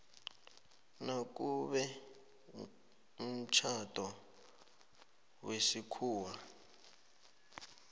nakube umtjhado wesikhuwa